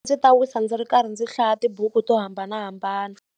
Ndzi ta wisa ndzi ri karhi ndzi hlaya tibuku to hambanahambana.